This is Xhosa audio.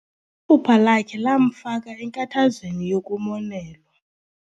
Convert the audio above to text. Iphupha lakhe lamfaka enkathazweni yokumonelwa.